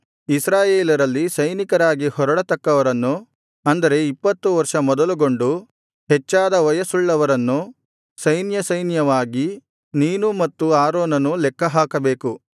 ಇಸ್ರಾಯೇಲರಲ್ಲಿ ಸೈನಿಕರಾಗಿ ಹೊರಡತಕ್ಕವರನ್ನು ಅಂದರೆ ಇಪ್ಪತ್ತು ವರ್ಷ ಮೊದಲುಗೊಂಡು ಹೆಚ್ಚಾದ ವಯಸ್ಸುಳ್ಳವರು ಸೈನ್ಯಸೈನ್ಯವಾಗಿ ನೀನೂ ಮತ್ತು ಆರೋನನೂ ಲೆಕ್ಕಹಾಕಬೇಕು